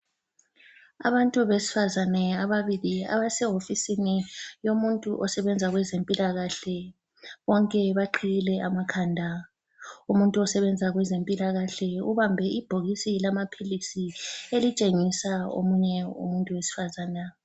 Abantu abesifazane ababili abasehofisini yomuntu osebenza kwezempilakahle. Bonke baqhiyile amakhanda. Umuntu osebenza kwezempilakahle ubambe ibhokisi lamaphilisi elitshengisa omunye umuntu wesifazana.